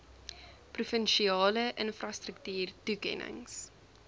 provinsiale infrastruktuur toekennings